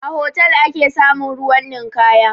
A hotal ake samun ruwan ninkaya